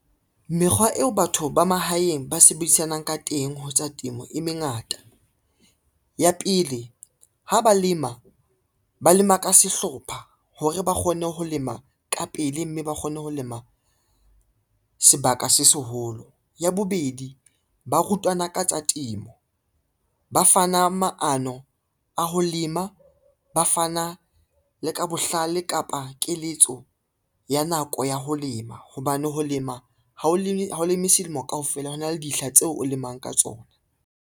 Mekgwa eo batho ba mahaeng ba sebedisanang ka teng ho tsa temo e mengata. Ya pele ha ba lema, ba lema ka sehlopha hore ba kgone ho lema ka pele, mme ba kgone ho lema sebaka se seholo. Ya bobedi, ba rutana ka tsa temo, ba fana maano a ho lema, ba fana le ka bohlale kapa keletso ya nako ya ho lema, hobane ho lema ha o leme selemo kaofela, ho na le dihla tseo o lemang ka tsona.